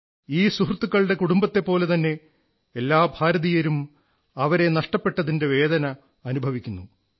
അവരുടെ കുടുംബത്തെപ്പോലെതന്നെ എല്ലാ ഭാരതീയരും അവരെ നഷ്ടപ്പെട്ടതിന്റെ വേദന അനുഭവിക്കുന്നു